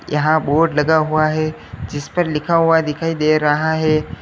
यहाँ बोर्ड लगा हुआ है जिस पर लिखा हुआ दिखाई दे रहा है।